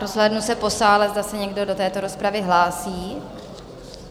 Rozhlédnu se po sále, zda se někdo do této rozpravy hlásí?